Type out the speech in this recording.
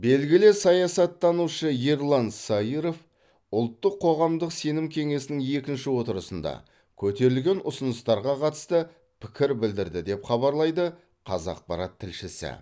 белгілі саясаттанушы ерлан саиров ұлттық қоғамдық сенім кеңесінің екінші отырысында көтерілген ұсыныстарға қатысты пікір білдірді деп хабарлайды қазақпарат тілшісі